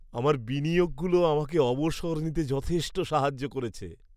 আমার বিনিয়োগগুলো আমাকে অবসর নিতে যথেষ্ট সাহায্য করেছে।